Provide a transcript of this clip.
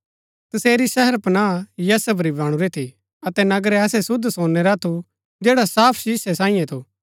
तसेरी शहरपनाह यशब री बणुरी थी अतै नगर ऐसै शुद्ध सोनै रा थू जैडा साफ शीसै सांईये थू